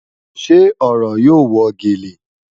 Ṣe ọ̀rọ̀ yóò wọ́ gẹ́lẹ́?